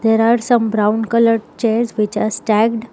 There are some brown coloured chairs which has stacked.